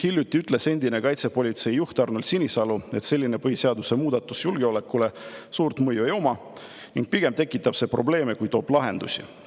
Hiljuti ütles endine kaitsepolitsei juht Arnold Sinisalu, et selline põhiseaduse muudatus julgeolekule suurt mõju ei oma ning pigem tekitab see probleeme, kui toob lahendusi.